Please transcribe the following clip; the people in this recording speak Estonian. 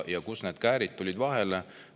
Kust need käärid tulid?